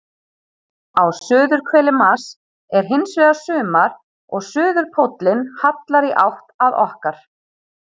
Á suðurhveli Mars er hins vegar sumar og suðurpóllinn hallar í átt að okkar.